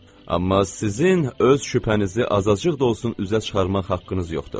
Amma sizin öz şübhənizi azacıq da olsun üzə çıxarmaq haqqınız yoxdur.